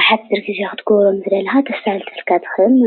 ኣብ ሓፂር ግዜ ናብ ጥዕና ትካላት ኽትበፅሕ ኾተስ ስራሕትና ኣብ ሓፂር እዋን ኽውዳእ ትሕግዝ።